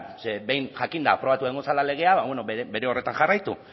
ze behin jakinda aprobatu egingo zela legea bere horretan jarraitu